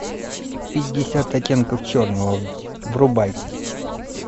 пятьдесят оттенков черного врубай